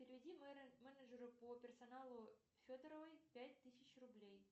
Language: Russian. переведи менеджеру по персоналу федоровой пять тысяч рублей